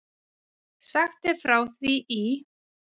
Sagt er frá því í